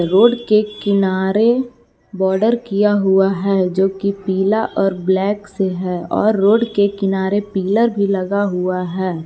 Road के किनारे border किया हुआ है जो कि पीला और ब्लैक से है और रोड के किनारे पिलर भी लगा हुआ है।